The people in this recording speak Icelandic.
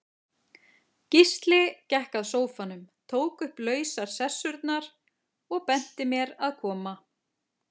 Gísli gekk að sófanum, tók upp lausar sessurnar, og benti mér að koma.